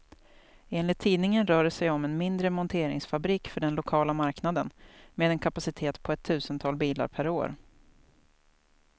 Enligt tidningen rör det sig om en mindre monteringsfabrik för den lokala marknaden, med en kapacitet på ett tusental bilar per år.